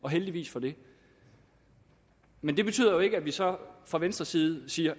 og heldigvis for det men det betyder jo ikke at vi så fra venstres side siger